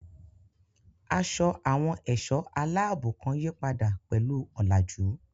Aṣọ àwọn ẹ̀ṣọ́ aláàbò kan yípadà pẹ̀lú ọ̀làjú.